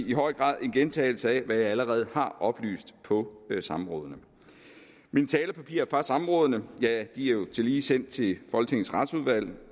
i høj grad en gentagelse af hvad jeg allerede har oplyst på samrådene mine talepapirer fra samrådene er jo tillige sendt til folketingets retsudvalg